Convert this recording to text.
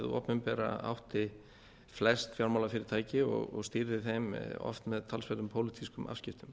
opinbera átti flest fjármálafyrirtæki og stýrði þeim oft með talsverðum pólitískum afskiptum